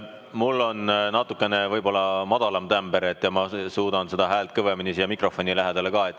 Mul on võib-olla natukene madalam tämber ja ma suudan siin mikrofoni lähedal ka kõvemat häält teha.